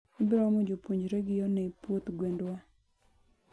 ibroomo jopuonjregi onee puoth gwendwa